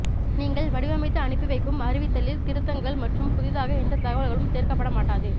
நீங்கள் வடிவமைத்து அனுப்பிவைக்கும் அறிவித்தலில் திருத்தங்கள் மற்றும் புதிதாக எந்த தகவல்களும் சேர்க்கப்பட மாட்டாது